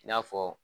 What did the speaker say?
I n'a fɔ